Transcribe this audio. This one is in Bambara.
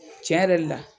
Tiɲɛ yɛrɛ la